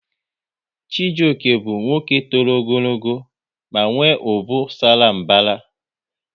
Chijioke bụ nwoke tọrọ ogologo ma nwe ubu sara mbara